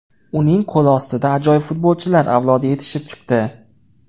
Uning qo‘l ostida ajoyib futbolchilar avlodi yetishib chiqdi.